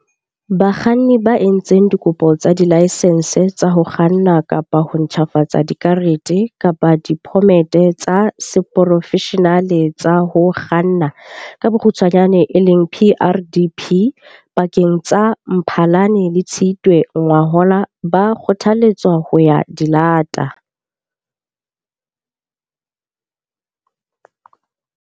Bakganni ba entseng dikopo tsa dilaesense tsa ho kganna kapa ho ntjhafatsa dikarete kapa diphomete tsa seporofeshenale tsa ho kganna, PrDP, pakeng tsa Mphalane le Tshitwe ngwahola ba kgothaletswa ho ya di lata.